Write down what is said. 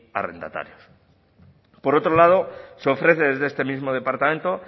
arrendatarios por otro lado se ofrece desde este mismo departamento